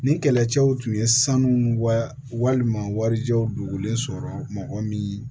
Nin kɛlɛcɛw tun ye sanu wa walima warijɛw dogolen sɔrɔ mɔgɔ min